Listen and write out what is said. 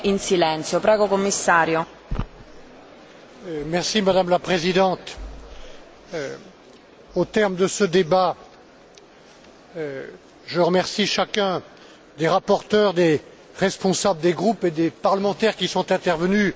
Madame la Présidente, au terme de ce débat, je remercie chacun des rapporteurs, des responsables des groupes et des parlementaires qui sont intervenus, à peu près unanimement, pour